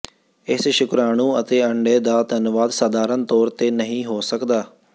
ਇਸ ਸ਼ੁਕ੍ਰਾਣੂ ਅਤੇ ਅੰਡੇ ਦਾ ਧੰਨਵਾਦ ਸਾਧਾਰਨ ਤੌਰ ਤੇ ਨਹੀਂ ਹੋ ਸਕਦਾ